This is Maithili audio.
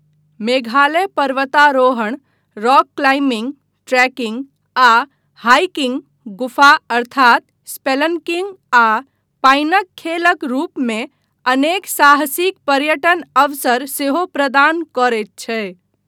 मेघालय पर्वतारोहण, रॉक क्लाइम्बिंग, ट्रेकिंग आ हाइकिंग, गुफा अर्थात स्पेलन्किन्ग आ पानिक खेलक रूपमे अनेक साहसिक पर्यटन अवसर सेहो प्रदान करैत छै।